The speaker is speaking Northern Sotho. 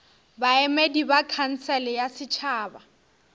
baemedi ba khansele ya setšhaba